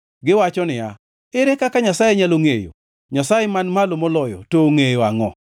Giwacho niya, “Ere kaka Nyasaye nyalo ngʼeyo? Nyasaye Man Malo Moloyo to ongʼeyo angʼo?”